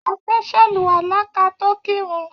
A fe sàlùwàlá ka to kírun.